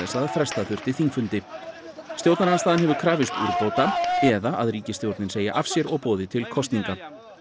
að fresta þurfti þingfundi stjórnarandstaðan hefur krafist úrbóta eða að ríkisstjórnin segi af sér og boði til kosninga